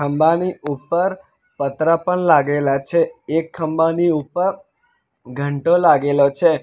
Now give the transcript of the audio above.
ખંબાની ઉપર પતરા પણ લાગેલા છે એક ખાંબાની ઉપર ઘંટો લાગેલો છે.